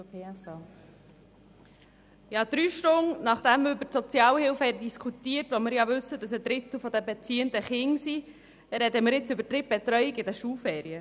Drei Stunden nach dem wir über die Sozialhilfe diskutiert haben – wir wissen ja, dass ein Drittel der Beziehenden Kinder sind –, sprechen wir jetzt über die Drittbetreuung während den Schulferien.